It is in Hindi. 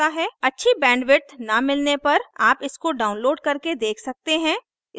अच्छी बैंडविड्थ न मिलने पर आप इसको डाउनलोड करके देख सकते हैं